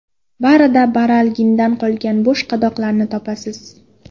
Barida baralgindan qolgan bo‘sh qadoqlarni topasiz”.